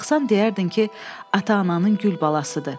Baxsan deyərdin ki, ata-ananın gül balasıdır.